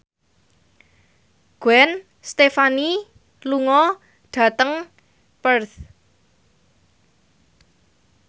Gwen Stefani lunga dhateng Perth